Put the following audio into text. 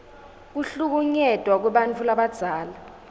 kuhlukunyetwa kwebantfu labadzala